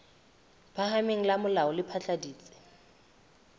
phahameng la molao le phatlaladitse